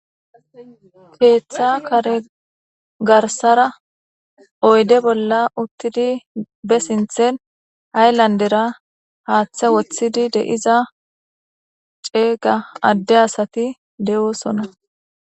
keeththa kare garsara oyde bolla uttidi be sinthen hayllandera haaththe woththidi deiza ceega adde asati de7oosona